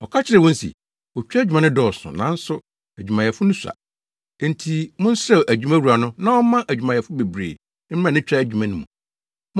Ɔka kyerɛɛ wɔn se, “Otwa adwuma no dɔɔso, nanso adwumayɛfo no sua. Enti monsrɛ adwumawura no na ɔmma adwumayɛfo bebree mmra ne twa adwuma no mu.